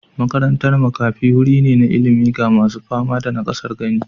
Makarantar makafi wuri ne na ilimi ga masu fama da nakasar gani.